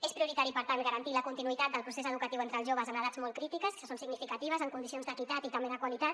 és prioritari per tant garantir la continuïtat del procés educatiu entre els joves en edats molt crítiques que són significatives en condicions d’equitat i també de qualitat